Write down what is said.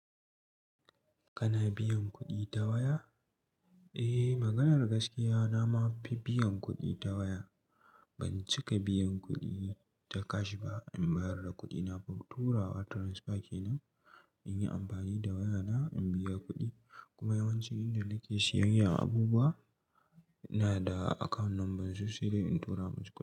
Kana biyan kuɗi ta waya? Eh, maganar gaskiya na ma fi biyan kuɗi ta waya. Ban cika biyan kuɗi ta cash ba. In bayar da kuɗina, turawa transfer kenan, in yi amfani da wayana in biya kuɗi, kuma yawanci inda nake siyayyan abubuwa, ina da account number su sai dai in tura musu kuɗi.